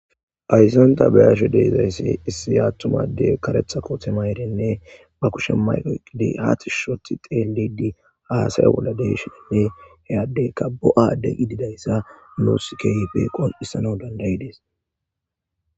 Aysanta bayasho deezayssi issi yaattumade karetha kotemayerenne ba kushe mayqoqidi haati shothi xeelidi haasaya bolla deshenne heyaddeyka bo'aadde qi didayssa nuus keyipe qon'issana dandayi dees.